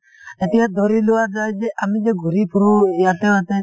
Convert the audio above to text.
এতিয়া ধৰি লোৱা যাই যে আমি যে ঘূৰি ফুৰো ইয়াতে য়াতে